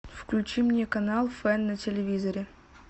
включи мне канал фэн на телевизоре